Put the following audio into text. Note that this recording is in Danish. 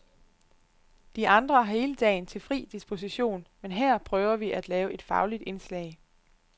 De andre har hele dagen til fri disposition, men hér prøver vi at lave et fagligt indslag.